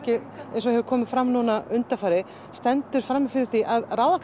eins og hefur komið fram undanfarið stendur frammi fyrir því að ráða